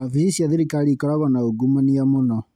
Ofici cia thirikari ikoragwo na ungumania mũno.